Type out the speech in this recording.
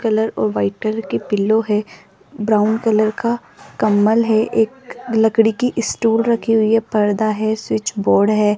Colour और white colour की pillow है ब्राउन कलर का कम्बल है एक लकड़ी की स्टूल रखी हुई है पर्दा है स्विच बोर्ड है।